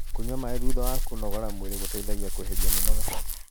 kũnyua maĩ thutha wa kũnogora mwĩrĩ gũteithagia kueherĩa mĩnoga